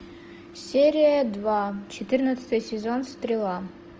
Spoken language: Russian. серия два четырнадцатый сезон стрела